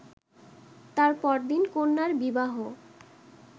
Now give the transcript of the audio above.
তার পরদিন কন্যার বিবাহ